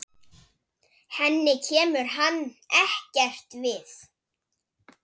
Henni kemur hann ekkert við.